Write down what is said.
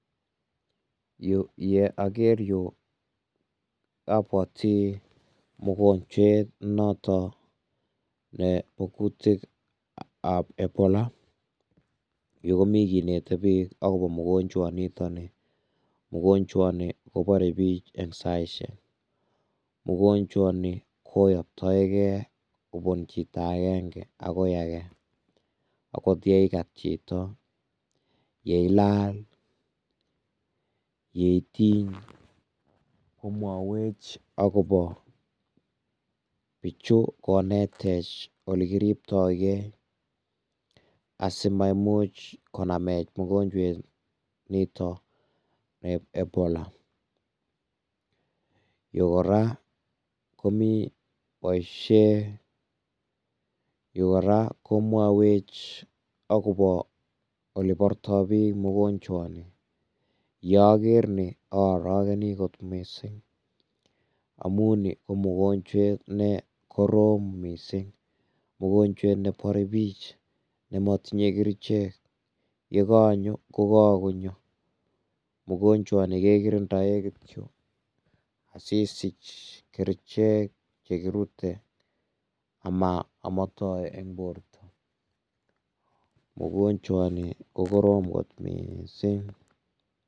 Ye aker yu abwoti mgonjwet noton nebo kutik ab Ebola, yu komi kinete bik akobo ugonjwa nitoni, ugonjwa uni kobarech bik eng saisiek, ugonjwa ini koyoktoike kobun chito akenge akoi ake, akot ye ikat chito, ye ilal, ye itiny, komwowech akobo, bichu konetech ole kiribtoi Kee, asiamaimuch konamech mgonjwet niton nebo ebola, Yu kora komiten boisiet, Yu kora komwawech akobo oleborto bik mgonjwa ini, ye aker nii a arakeni kot mising amun nii ko mgonjwet nee korom mising, mgonjwet nee bore bik, ne motinye kerichek ye kakonyo ko kakonyo, mgonjwa ini ke kirindoen kityok asisich kerichek kirute amotii eng borrow, ugonjwa ini ko korom kit mising.